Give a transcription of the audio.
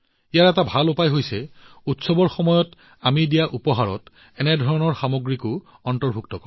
ইয়াৰ এটা ভাল উপায় হল উৎসৱৰ সময়ত আমি যি উপহাৰ দিওঁ তাত এই ধৰণৰ সামগ্ৰী অন্তৰ্ভুক্ত কৰা